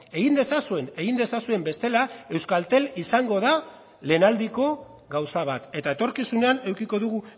egin dezazuen egin dezazuen bestela euskaltel izango da lehenaldiko gauza bat eta etorkizunean edukiko dugu